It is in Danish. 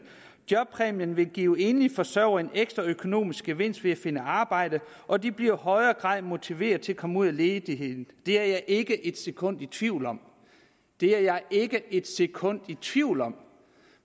jobpræmien vil give enlige forsørgere en ekstra økonomisk gevinst ved at finde et arbejde og de bliver i højere grad motiveret til at komme ud af ledigheden det er jeg ikke et sekund i tvivl om det er jeg ikke et sekund i tvivl om